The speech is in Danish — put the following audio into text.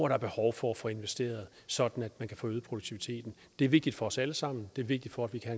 er behov for at få investeret sådan at man kan få øget produktiviteten det er vigtigt for os alle sammen det er vigtigt for at vi kan